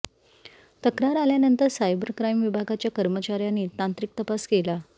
तक्रार आल्यानंतर cyber crime विभागाच्या कर्मचाऱ्यांनी तांत्रिक तपास केला